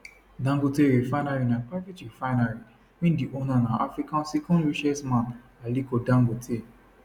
dangote refinery na private refinery wey di owner na africa second richest man aliko dangote